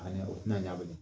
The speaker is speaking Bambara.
A ɲɛ o ti na ɲa belen.